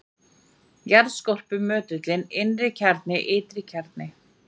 jarðskorpa möttull innri-kjarni ytri-kjarni